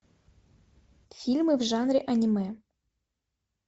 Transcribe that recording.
фильмы в жанре аниме